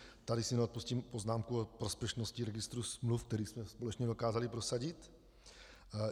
Tady si neodpustím poznámku o prospěšnosti registru smluv, který jsme společně dokázali prosadit.